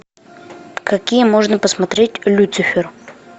какие можно посмотреть люцифер